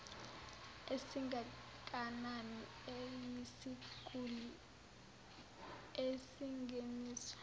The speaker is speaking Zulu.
esingakanani eyisiguli esingeniswe